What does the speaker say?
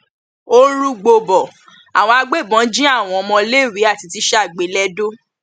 ó ń rúgbó bo àwọn agbébọn jí àwọn ọmọléèwé àti tíṣà gbé lẹdọ